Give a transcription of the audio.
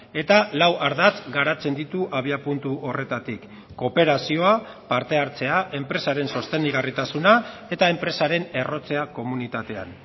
eta lau ardatz garatzen ditu abiapuntu horretatik kooperazioa parte hartzea enpresaren sostengarritasuna eta enpresaren errotzea komunitatean